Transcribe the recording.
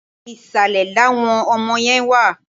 Ìsàlẹ̀ làwọn ọmọ yẹn wà.